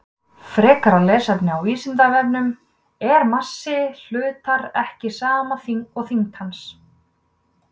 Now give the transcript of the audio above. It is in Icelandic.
Frekara lesefni af Vísindavefnum: Er massi hlutar ekki sama og þyngd hans?